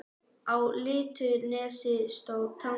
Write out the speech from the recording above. Á litlu nesi stóð Tangi.